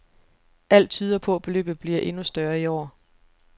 Alt tyder på, beløbet bliver endnu større i år.